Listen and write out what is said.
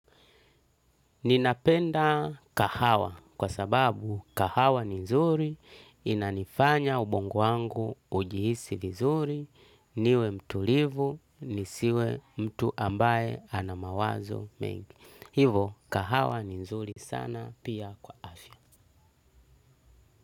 Ninapenda kahawa kwa sababu kahawa ni nzuri, inanifanya ubongo wangu ujihisi vizuri, niwe mtu livu, nisiwe mtu ambaye anamawazo mengi. Hivyo kahawa ni nzuri sana pia kwa afya.